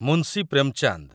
Munshi Premchand